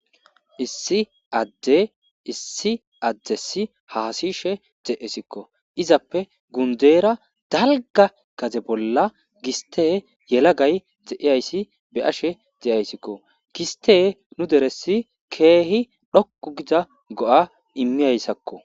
Issi adde issi addessi haasishe de7esikko. Izappe gundeera dalgga gadze bolla giste yelagay dze7iyayssi be7ashe de7ayssikko. Gistte nu deressi keehi dhoqqu gida go7a immiyayssakko.